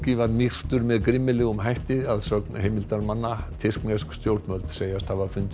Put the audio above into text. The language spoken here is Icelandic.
var myrtur með grimmilegum hætti að sögn heimildarmanna tyrknesk stjórnvöld segjast hafa fundið